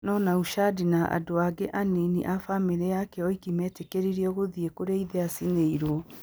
No Naushad na andũ angĩ anini a famĩlĩ yake oiki meetĩkĩririo gũthiĩ kũrĩa ithe aacinĩirũo.